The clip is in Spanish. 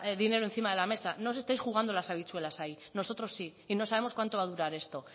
dinero encima de la mesa no os estáis jugando las habichuelas ahí nosotros sí y no sabemos cuánto va a durar esto